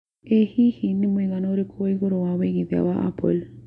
ĩ hĩhĩ nĩ mũigana ũrikũ wa igũrũ wa wĩigthia wa apple